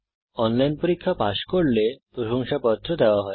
online পরীক্ষা pass করলে প্রশংসাপত্র দেওয়া হয়